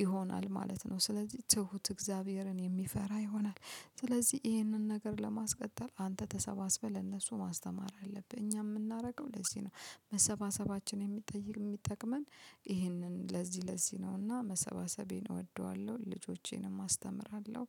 ይሆናል ማለት ነው። ስለዚህ ትሁት እግዚአብሔርን የሚፈራ ይሆናል። ስለዚህ ይህንን ነገር ለማስቀጠል አንተ ተሰባስበህ ለነሱ ማስተማር አለብህ። እኛ የምናደርገው ለዚህ ነው። መሰባሰባችን የሚጠይቅ የሚጠቅመን ይህንን ለዚህ ለዚህ ነውና መሰባሰቤን እወደዋለሁ ልጆቼንም አስተምራለሁ።